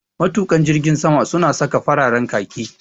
Matuƙan jirgin sama su na sa fararen khaki